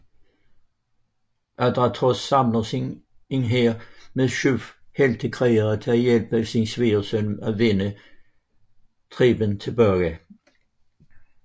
Adrastos samler en hær med syv heltekrigere til at hjælpe sin svigersøn vinde Theben tilbage